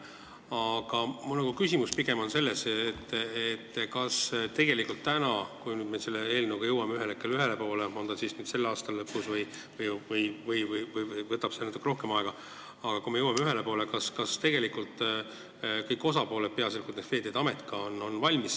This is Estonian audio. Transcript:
Aga mu küsimus on pigem selles, et kui me nüüd selle eelnõuga ühel hetkel ühele poole saame – on see siis selle aasta lõpus või võtab see natuke rohkem aega –, kas tegelikult kõik osapooled, peaasjalikult Veeteede Amet, on selleks ka valmis.